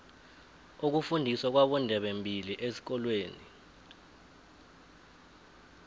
ukufundiswa kwabondebembili esikolweni